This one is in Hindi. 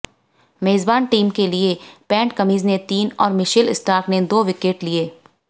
मेजबान टीम के लिए पैट कमिंस ने तीन और मिशेल स्टार्क ने दो विकेट लिए